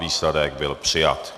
Výsledek - byl přijat.